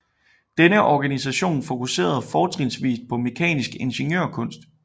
Denne organisation fokuserede fortrinsvist på mekanisk ingeniørkunst